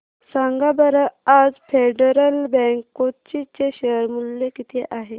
सांगा बरं आज फेडरल बँक कोची चे शेअर चे मूल्य किती आहे